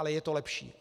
Ale je to lepší.